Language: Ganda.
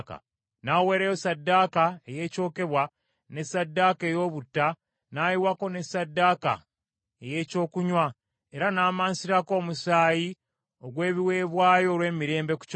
N’aweerayo ssaddaaka ey’ekyokebwa ne ssaddaaka ey’obutta n’ayiwako ne ssaddaaka ey’ekyokunywa, era n’amansirako omusaayi ogw’ebiweebwayo olw’emirembe ku kyoto.